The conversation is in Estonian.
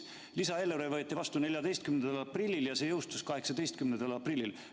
Lisaeelarve võeti vastu 14. aprillil ja see jõustus 18. aprillil.